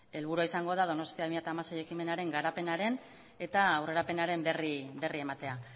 helburua izango da donostia bi mila hamasei ekimenaren garapenaren eta aurrerapenaren berri ematea